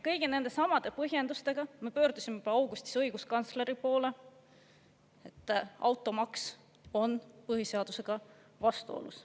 Kõigi nendesamade põhjendustega me pöördusime juba augustis õiguskantsleri poole, et automaks on põhiseadusega vastuolus.